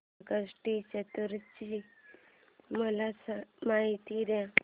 संकष्टी चतुर्थी ची मला माहिती दे